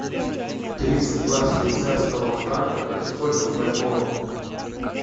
тридцать два швейцарского франка это сколько в бальбоа